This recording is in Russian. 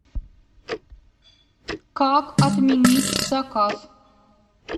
как отменить заказ